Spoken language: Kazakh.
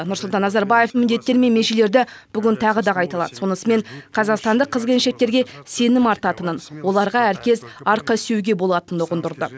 нұрсұлтан назарбаев міндеттері мен межелерді бүгін тағы да қайталады сонысымен қазақстандық қыз келіншектерге сенім артатынын оларға әркез арқасүйеуге болатынын ұғындырды